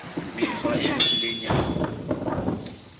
mekgwa e lokileng ya ho